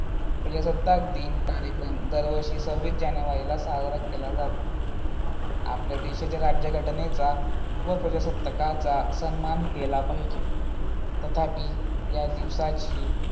प्रजास्ताक दिन कार्यक्रम दरवर्षी सव्वीस जानेवारी साजरा केला जातो. आपल्या देशाच्या राज्यघटनेचा व प्रजासत्ताकाचा सम्मान केला पाहिजे. तथापि या दिवसाची